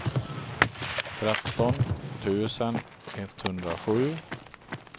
tretton tusen etthundrasju